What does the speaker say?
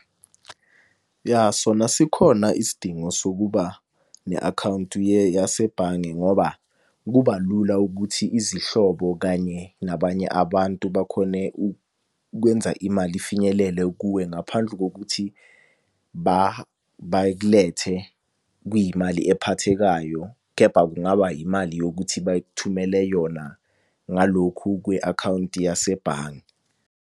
Ya, sona sikhona isidingo sokuba ne-akhawunti yasebhange ngoba kuba lula ukuthi izihlobo kanye nabanye abantu, bakhone ukwenza imali ifinyelele kuwe ngaphandle kokuthi bakulethe kuyimali ephathekayo. Kepha kungaba yimali yokuthi bayikuthumele yona ngalokhu kwi-akhawunti yasebhange.